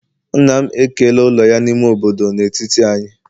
nna m ekela ụlọ ya n'ime obodo n'etiti anyị